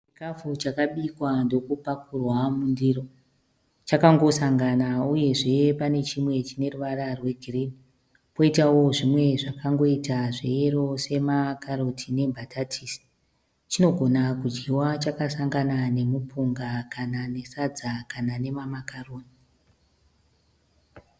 Chikafu chakabikwa ndokupakurwa mundiro. Chakangosangana uyezve pane chimwe chine ruvara rwe girinhi. Koitawio zvimwe zvakangoita zve yero sema karoti nembatatisi. Chinogona kudyiwa chakasangana nemupunga kana nesadza kana nema makaroni.